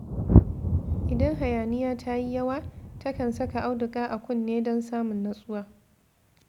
Idan hayaniya ta yi yawa, takan saka auduga a kunne don samun nutsuwa.